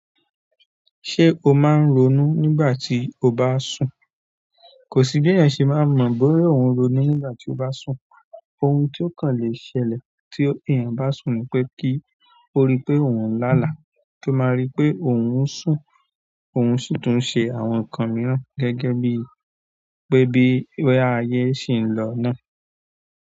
Ṣé o máa ń ronú nígbà tí o bá sùn? Kò sí bí èèyàn ṣe máa mọ bóyá òun ń ronú nígbà tí ó bá sùn. Ohun ti ó kàn le ṣẹlẹ̀ tí èèyàn bá sùn ni pé kí ó rí pé òun ń lá àlá, tó máa rí pé òun ń sùn, òun sì tún ṣe àwọn nǹkan mìíràn gẹ́gẹ́ bí i pé bí i boya ayé sì ń lọ náà.